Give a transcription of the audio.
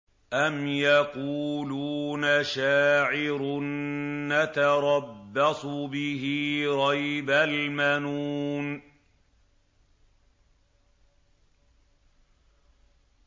أَمْ يَقُولُونَ شَاعِرٌ نَّتَرَبَّصُ بِهِ رَيْبَ الْمَنُونِ